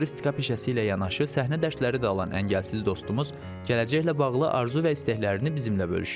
Floristika peşəsi ilə yanaşı səhnə dərsləri də alan əngəlsiz dostumuz, gələcəklə bağlı arzu və istəklərini bizimlə bölüşdü.